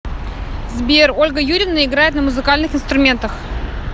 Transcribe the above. сбер ольга юрьевна играет на музыкальных инструментах